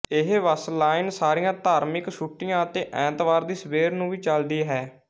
ਇਹ bus line ਸਾਰੀਆਂ ਧਰਮਿਕ ਛੁੱਟੀਆਂ ਅਤੇ ਐਤਵਾਰ ਦੀ ਸਵੇਰ ਨੂੰ ਵੀ ਚਲਦੀ ਹੈ